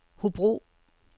Hobro